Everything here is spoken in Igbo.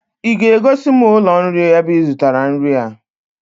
I ga-egosi m ụlọ nri ebe I zụtara nri a!